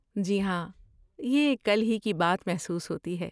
جی ہاں، یہ کل کی ہی بات محسوس ہوتی ہے۔